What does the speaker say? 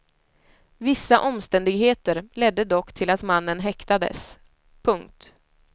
Vissa omständigheter ledde dock till att mannen häktades. punkt